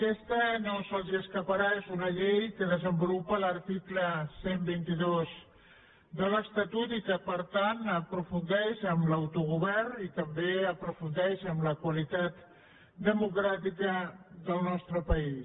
aquesta no se’ls escaparà és una llei que desenvolupa l’article cent i vint dos de l’estatut i que per tant aprofundeix en l’autogovern i també aprofundeix en la qualitat democràtica del nostre país